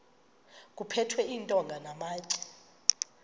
kuphethwe iintonga namatye